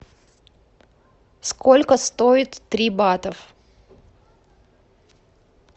сколько стоит три бата